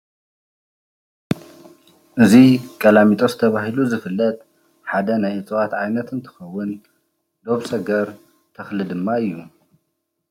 እዚ ቀላሚጦስ ተባሂሉ ዝፍለጥ ሓደ ናይ እፅዋት ዓይነት እንትኸዉን ዶብ ሰገር ተኽሊ ድማ እዪ ።